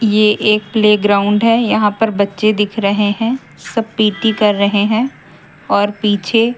ये एक प्लेग्राउंड है यहां पर बच्चे दिख रहे हैं सब पी_टी कर रहे हैं और पीछे--